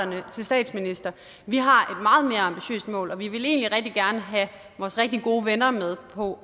til statsminister vi har et meget mere ambitiøst mål og vi vil egentlig rigtig gerne have vores rigtig gode venner med på